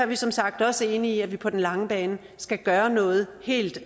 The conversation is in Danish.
vi som sagt også enige i at vi på den lange bane skal gøre noget helt